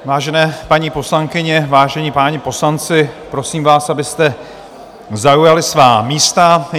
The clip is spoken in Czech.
Vážené paní poslankyně, vážení páni poslanci, prosím vás, abyste zaujali svá místa.